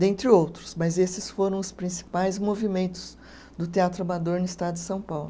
Dentre outros, mas esses foram os principais movimentos do Teatro Amador no estado de São Paulo.